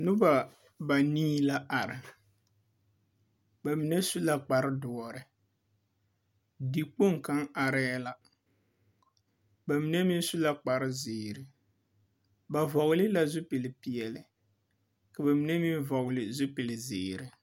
Noba banii la are. ba mine su la kpare dõͻre. dikpoŋ kaŋa arԑԑ la. Ba mine meŋ la kpare zeere. Ba vͻgele la zupili peԑle, ka ba mine meŋ vͻgele zupili zeere.